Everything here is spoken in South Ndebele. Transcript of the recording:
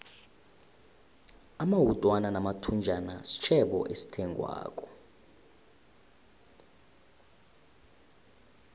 amawutwana namathunjana sitjhebo esithengwako